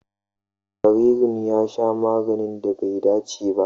Jaririn ya sha maganin da bai dace ba.